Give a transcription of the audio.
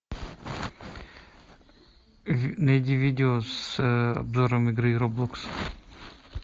найди видео с обзором игры роблокс